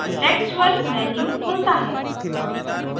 contexual menu खुलता है